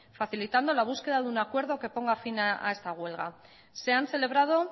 facilitando la búsqueda de un acuerdo que ponga fin a esta huelga se han celebrado